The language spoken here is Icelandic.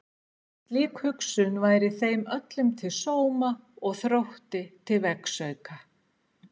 Slík hugsun væri þeim öllum til sóma og Þrótti til vegsauka.